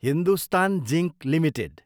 Hindustan zinc Ltd